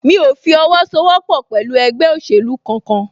Mí o fi owó sọ wọ́pọ̀ pẹ̀lú ẹgbẹ́ òsèlú kan kan